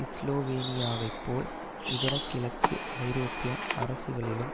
ஸ்லோவேனியாவை போல் இதர கிழக்கு ஐரோப்பிய அரசுகளிலும்